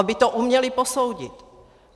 Aby to uměli posoudit.